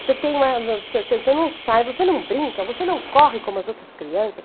Você tem você você não sai, você não brinca, você não corre como as outras crianças.